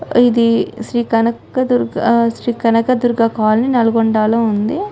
ఇది శ్రీ కానక దుర్గ ఆహ్ శ్రీ కానక దుర్గ కాలనీ నల్గొండ లో ఉంది.